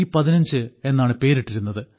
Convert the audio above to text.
15 എന്നാണ് പേരിട്ടിരുന്നത്